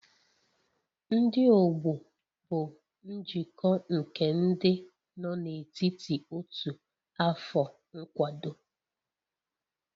Ndị ọgbọ bụ njikọ nke ndị nọ n'etiti otu afọ nkwado